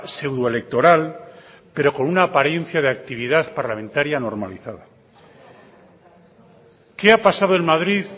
pseudo electoral pero con una apariencia de actividad parlamentaria normalizada qué ha pasado en madrid